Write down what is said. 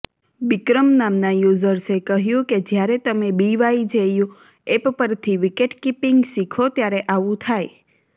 બિકરમ નામના યૂઝર્સે કહ્યું કે જ્યારે તમે બીવાયજેયુ ઍપ પરથી વિકેટકીપિંગ શીખો ત્યારે આવું થાય